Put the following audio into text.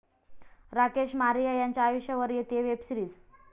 राकेश मारिया यांच्या आयुष्यावर येतेय वेबसीरिज